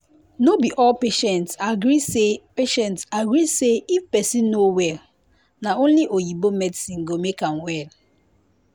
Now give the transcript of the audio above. no be all patient agree say patient agree say if person no well na only oyinbo medicine go make am well